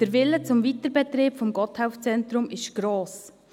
» Der Wille zum Weiterbetrieb des Gotthelf-Zentrums ist gross.